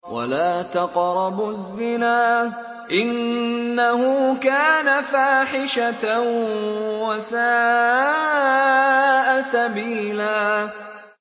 وَلَا تَقْرَبُوا الزِّنَا ۖ إِنَّهُ كَانَ فَاحِشَةً وَسَاءَ سَبِيلًا